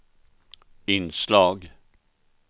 inslag